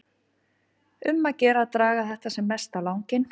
Um að gera að draga þetta sem mest á langinn.